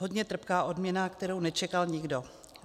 Hodně trpká odměna, kterou nečekal nikdo.